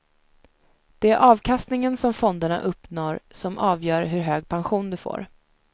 Det är avkastningen som fonderna uppnår som avgör hur hög pension du får.